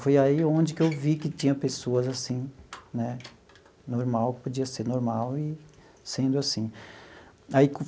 Foi aí onde que eu vi que tinha pessoas assim né normal, que podia ser normal e sendo assim aí.